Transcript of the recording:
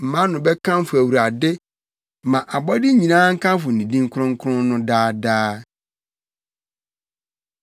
Mʼano bɛkamfo Awurade. Ma abɔde nyinaa nkamfo ne din kronkron no daa daa.